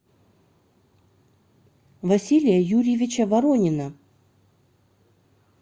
василия юрьевича воронина